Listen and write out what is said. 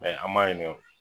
Ayi an m'a ɲininga o